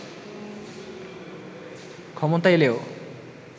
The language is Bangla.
ক্ষমতায় এলেও